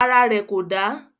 Ara rẹ̀ kò dà.